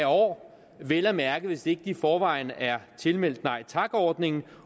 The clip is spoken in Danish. år vel at mærke hvis de ikke i forvejen er tilmeldt nej tak ordningen